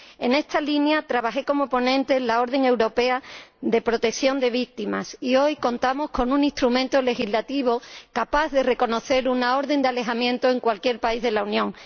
En esta línea trabajé como ponente en la orden europea de protección de víctimas, y hoy contamos con un instrumento legislativo capaz de reconocer una orden de alejamiento en cualquier país de la Unión.